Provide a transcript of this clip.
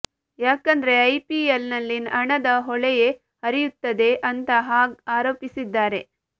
ಯಾಕಂದ್ರೆ ಐಪಿಎಲ್ ನಲ್ಲಿ ಹಣದ ಹೊಳೆಯೇ ಹರಿಯುತ್ತದೆ ಅಂತಾ ಹಾಗ್ ಆರೋಪಿಸಿದ್ದಾರೆ